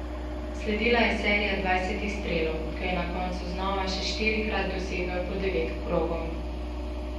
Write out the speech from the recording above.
Sledila je serija dvajsetih strelov, ko je na koncu znova še štirikrat dosegel po devet krogov.